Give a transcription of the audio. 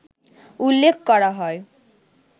উল্লেখ করা হয়